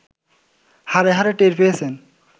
হাড়ে হাড়ে টের পেয়েছেন